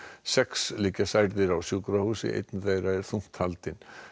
sex liggja særðir á sjúkrahúsi einn þeirra er þungt haldinn